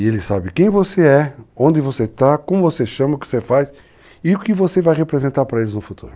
E ele sabe quem você é, onde você está, como você chama, o que você faz e o que você vai representar para eles no futuro.